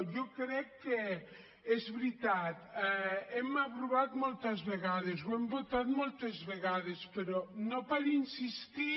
jo crec que és veritat ho hem aprovat moltes vegades ho hem votat moltes vegades però no per insistir